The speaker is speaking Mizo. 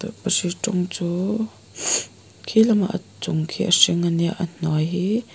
tawlhpahrit rawng chu khi lama chung khi a hring a nia a hnuai hi--